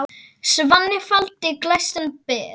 Svanni faldinn glæstan ber.